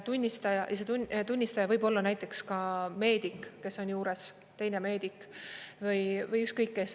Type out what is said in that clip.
Tunnistaja võib olla näiteks ka meedik, kes on juures, teine meedik, või ükskõik kes.